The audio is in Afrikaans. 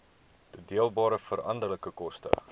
toedeelbare veranderlike koste